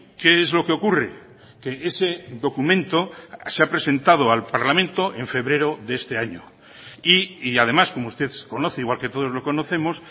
qué es lo que ocurre que ese documento se ha presentado al parlamento en febrero de este año y además como usted conoce igual que todos lo conocemos